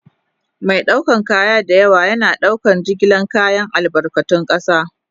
Mai ɗaukar kaya da yawa yana ɗaukar jigilar kayan albarkatun ƙasa.